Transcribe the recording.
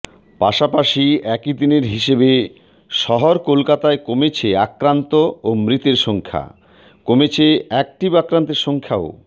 পাশাপাশি একদিনের হিসেবে শহর কলকাতায় কমেছে আক্রান্ত ও মৃতের সংখ্যা কমেছে অ্যাক্টিভ আক্রান্তের সংখ্যাও